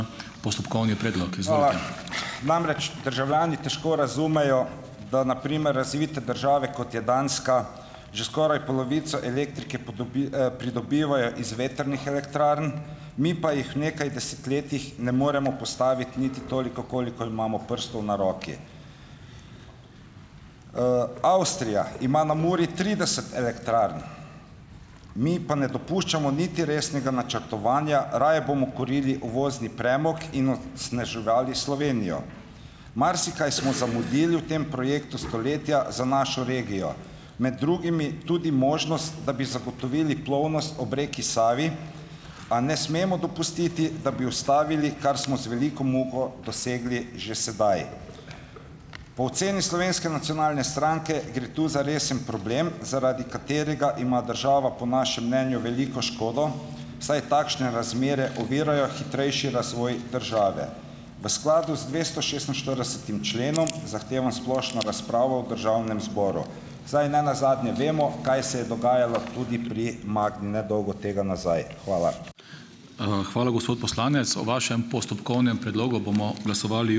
Namreč, državljani težko razumejo, da na primer razvite države, kot je Danska, že skoraj polovico elektrike pridobivajo iz vetrnih elektrarn, mi pa jih v nekaj desetletjih ne moremo postaviti niti toliko, kolikor imamo prstov na roki. Avstrija ima na Muri trideset elektrarn, mi pa ne dopuščamo niti resnega načrtovanja, raje bomo kurili uvozni premog in onesnaževali Slovenijo. Marsikaj smo zamudili v tem projektu stoletja za našo regijo, med drugimi tudi možnost, da bi zagotovili plovnost ob reki Savi, a ne smemo dopustiti, da bi ustavili, kar smo z veliko muko dosegli že sedaj. Po oceni Slovenske nacionalne stranke gre tu za resen problem, zaradi katerega ima država po našem mnenju veliko škodo, saj takšne razmere ovirajo hitrejši razvoj države. V skladu z dvestošestinštiridesetim členom zahtevam splošno razpravo v državnem zboru, saj nenazadnje vemo, kaj se je dogajalo tudi pri Magni nedolgo tega nazaj. Hvala.